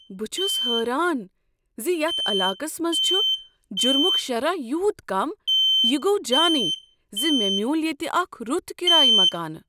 بہٕ چھس حیران ز یتھ علاقس منٛز چھ جرمک شرح یوت کم۔ یہ گوٚو جانٕے ز مےٚ میول ییٚتہ اکھ رُت کرایہ مکانہٕ۔